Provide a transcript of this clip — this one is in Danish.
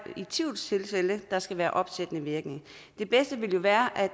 med tvivlstilfælde der skal være opsættende virkning det bedste ville jo være at